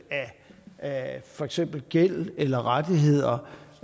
af for eksempel gæld eller rettigheder